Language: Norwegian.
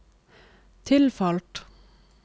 tilfalt